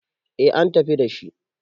eh an tafi dashi